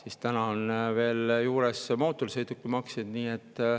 Ja nüüd on veel juures mootorsõidukimaks.